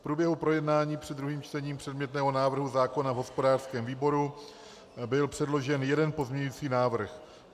V průběhu projednání před druhým čtením předmětného návrhu zákona v hospodářském výboru byl předložen jeden pozměňující návrh.